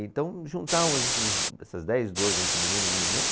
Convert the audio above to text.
Então, juntávamos esses, essas dez, doze, entre meninos e meninas.